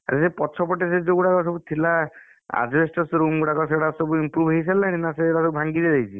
ଆରେ ସେ ପଛ ପଟେ ସେ ଯୋଉଗୁଡା ସବୁ ଥିଲା asbestos room ଗୁଡା ସେଗୁଡା ସବୁ improve ହେଇସାରିଲାଣି ନା ସେଇଗୁଡା ସବୁ ଭାଂଗିଯାଇଛି?